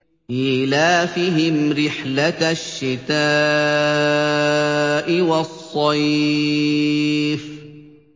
إِيلَافِهِمْ رِحْلَةَ الشِّتَاءِ وَالصَّيْفِ